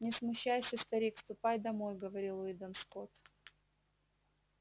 не смущайся старик ступай домой говорил уидон скотт